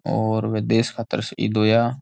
और बे देश खातर शहीद होया।